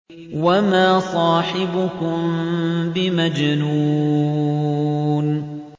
وَمَا صَاحِبُكُم بِمَجْنُونٍ